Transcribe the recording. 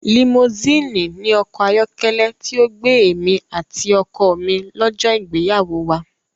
Limosíìnì ni ọkọ̀ ayọ́kẹ́lẹ́ tí ó gbé èmi àti ọkọ mi lọ́jọ́ ìgbéyàwó wa.